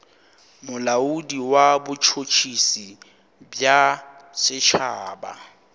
molaodi wa botšhotšhisi bja setšhaba